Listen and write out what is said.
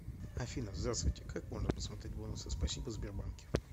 афина здравствуйте как можно посмотреть бонусы спасибо в сбербанке